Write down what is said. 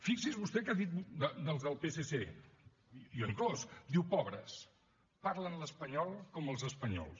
fixi’s vostè què ha dit dels del psc i jo inclòs diu pobres parlen l’espanyol com els espanyols